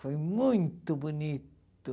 Foi muito bonito.